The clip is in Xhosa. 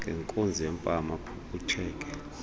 ngenkunzi yempama aphuphutheke